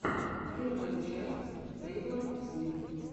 первая часть тейлор свифт